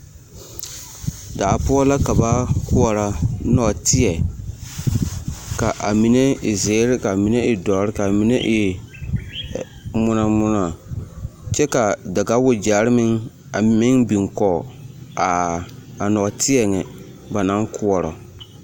Daa poɔ la ka ba koɔrɔ nɔɔteɛ ka a mine e ziiri ka a mine e dɔre ka a mine e ŋmonɔŋmonɔ kyɛ ka daɡawaɡyɛre meŋ a meŋ biŋ kɔɡe a nɔɔteɛ nyɛ ba naŋ koɔrɔ.